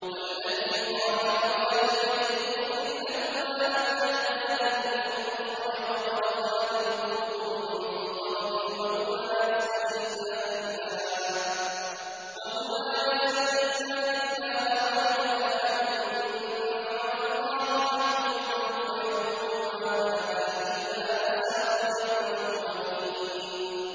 وَالَّذِي قَالَ لِوَالِدَيْهِ أُفٍّ لَّكُمَا أَتَعِدَانِنِي أَنْ أُخْرَجَ وَقَدْ خَلَتِ الْقُرُونُ مِن قَبْلِي وَهُمَا يَسْتَغِيثَانِ اللَّهَ وَيْلَكَ آمِنْ إِنَّ وَعْدَ اللَّهِ حَقٌّ فَيَقُولُ مَا هَٰذَا إِلَّا أَسَاطِيرُ الْأَوَّلِينَ